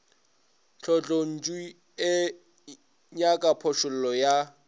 tlotlontšu e nyaka phošollo ya